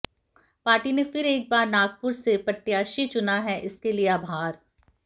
party ने फिर एक बार नागपुर से प्रत्याशी चुना है इसके लिए आभार